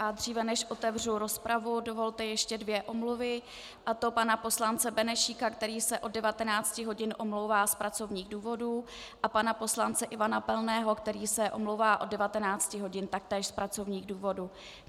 A dříve než otevřu rozpravu, dovolte ještě dvě omluvy, a to pana poslance Benešíka, který se od 19 hodin omlouvá z pracovních důvodů, a pana poslance Ivana Pilného, který se omlouvá od 19 hodin taktéž z pracovních důvodů.